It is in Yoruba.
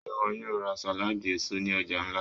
Ṣe iwọ yóò ra saladi eso ni ọja nla?